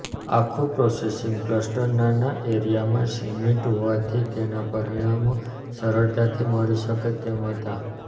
આખુ processing cluster નાના એરિયામાં સિમિટ હોવાથી તેના પરિણામો સરળતાથી મળી શકે તેમ હતા